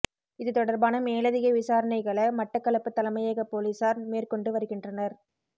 இது தொடர்பான மேலதிக விசாரணைகள மட்டக்களப்பு தலைமையக பொலிஸார் மேற்கொண்டு வருகின்றனர்